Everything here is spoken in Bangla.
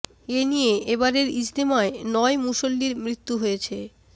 এ নিয়ে এবারের ইজতেমায় নয় মুসল্লির মৃত্যু হয়েছে